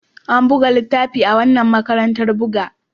An buga littafin makaranta a wannan matattarar buga.